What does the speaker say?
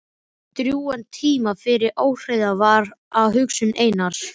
Það tók drjúgan tíma því óreiða var á hugsun Einars.